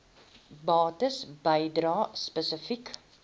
bates bedrae spesifiek